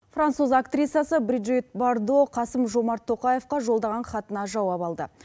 француз актрисасы бриджит бардо қасым жомарт тоқаевқа жолдаған хатына жауап алды